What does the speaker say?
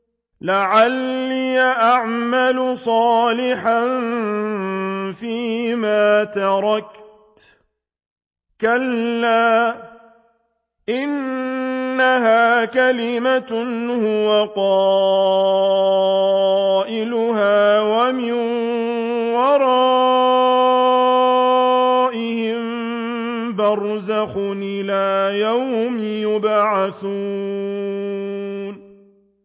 لَعَلِّي أَعْمَلُ صَالِحًا فِيمَا تَرَكْتُ ۚ كَلَّا ۚ إِنَّهَا كَلِمَةٌ هُوَ قَائِلُهَا ۖ وَمِن وَرَائِهِم بَرْزَخٌ إِلَىٰ يَوْمِ يُبْعَثُونَ